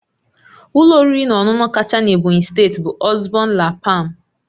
Ụlọ oriri na ọṅụṅụ kacha na Ebonyi steeti bụ Osborne la palm